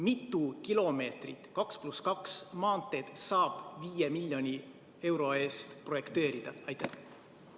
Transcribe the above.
Mitu kilomeetrit 2 + 2 maanteed saab 5 miljoni euro eest projekteerida?